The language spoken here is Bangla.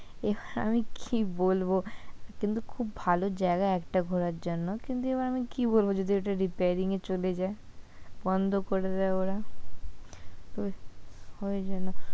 আমি কি বলব, কিন্তু খুব ভালো জায়গা একটা ঘোরার জন্য, কিন্তু আমি কি বলব যদি ওটা reappearing এ চলে যায়, বন্ধ করে দেয় ওরা তো ওই জন্য।